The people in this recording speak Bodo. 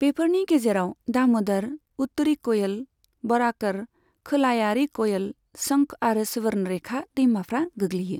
बेफोरनि गेजेराव दाम'दर, उत्तरी क'यल, बराकर, खोलायारि क'यल, शंख आरो सुवर्णरेखा दैमाफ्रा गोग्लैयो।